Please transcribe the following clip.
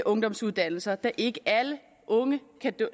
ungdomsuddannelser da ikke alle unge kan